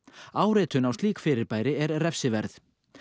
áritun á slík fyrirbæri er refsiverð